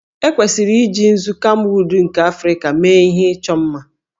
E kwesịrị iji nzu kamwụd nke Africa mee ihe ịchọ mma